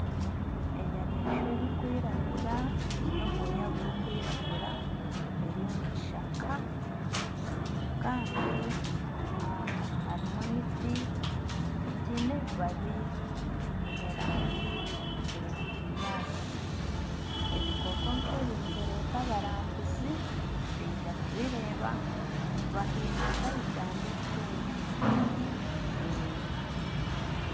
Enyamaishwa erikwiragura eine obwooya burikwiragura eri omu kishaka kandi harimu emiti eine emabaabi agiine rangi ya kinyaatsi ebikooko nka ebi nibireeta abarambuzi baija kubireeba baha eihanga nka Uganda esente.